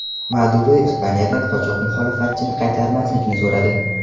Maduro Ispaniyadan qochoq muxolifatchini qaytarmaslikni so‘radi.